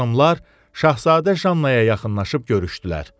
Xanımlar Şahzadə Jannaya yaxınlaşıb görüşdülər.